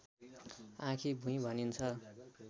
आँखीभुईं भनिन्छ